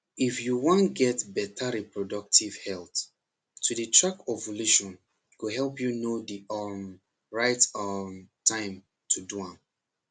if you wan get better reproductive health to dey track ovulation go help know the um right um time to do am